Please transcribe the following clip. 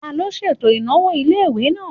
Taló ṣètò ìnáwó ilé-ìwé náà?